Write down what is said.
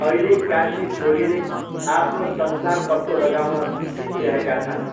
अहिले कान्छी छोरीले आफ्नो संसार पत्तो लगाउन सिकिरहेका छन्।